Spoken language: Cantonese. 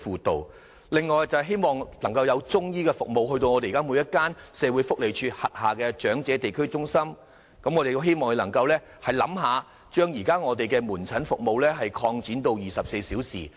此外，我們亦希望政府可以在每間社會福利署轄下的長者地區中心增設中醫服務，也可考慮把現時的門診服務擴展至24小時。